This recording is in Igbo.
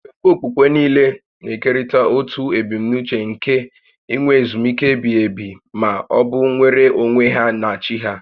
Nkwenkwe okpukpe niile na-ekerịta otu ebumnuche nke inwe ezumike ebighi ebi ma ọ bụ nnwere onwe ha na chi ha